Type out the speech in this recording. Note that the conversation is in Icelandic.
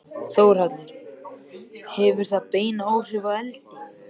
Þórhallur: Hefur það bein áhrif á eldið?